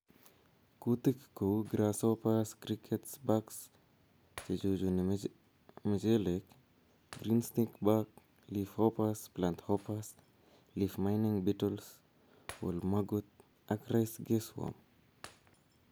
Kuutik kou grasshoppers, crickets, bucks che chuchuni mchelek, green stink bug ,leaf hoppers, plant hoppers, leaf mining beetles, whorl maggot ak rice caseworm